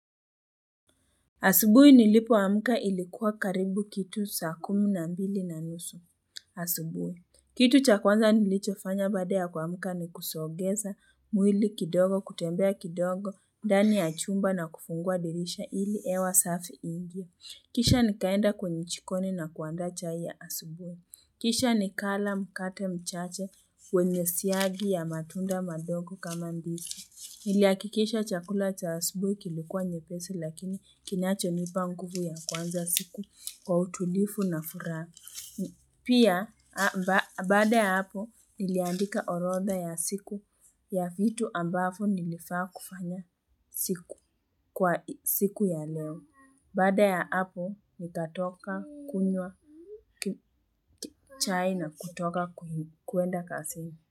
Asubuhi nilipoamuka ilikuwa karibu kitu saa kumi na mbili na nusu. Asubuhi. Kitu chakwanza nilicho fanya baada kuamuka ni kusogeza mwili kidogo, kutembea kidogo, ndani ya chumba na kufungua dirisha ili hewa safi iingie. Kisha nikaenda kwenye jikoni na kuandaa chai ya asubuhi. Kisha nikala mkate mchache wenye siagi ya matunda mandogo kama mbiki. Nilihakikisha chakula cha asubuhi kilikuwa nyepesi lakini kinachonipa nguvu ya kwanza siku kwa utulifu na furaha. Pia baada ya hapo niliandika orodha ya siku ya vitu ambavo nilifaa kufanya siku ya leo. Baada ya hapo nitatoka kunywa chai na kutoka kwenda kasini.